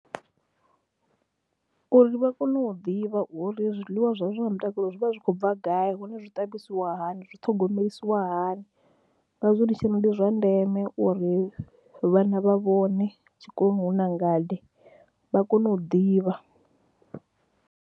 Uri vha kone u ḓivha uri zwiḽiwa zwavho zwa mutakalo zwi vha zwi khou bva gai hone zwi ṱavhisiwa hani, zwi thogomelisiwa hani ngazwo ndi tshi ri ndi zwa ndeme uri vhana vha vhone tshikoloni hu na ngade, vha kone u ḓivha.